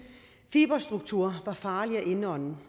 fiberstruktur var farligt at indånde